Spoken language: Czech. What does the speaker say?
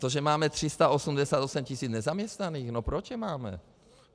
To, že máme 388 tisíc nezaměstnaných - no proč je máme?